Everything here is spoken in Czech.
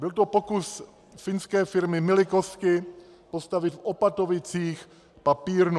Byl to pokus finské firmy Milikoski postavit v Opatovicích papírnu.